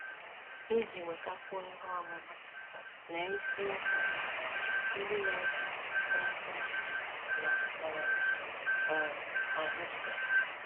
Iji nwetakwuo ihe ọmụma, lee isiokwu bụ́ “ Ndị Na - eto Na - eto Eto Na um - um ajụ Sị...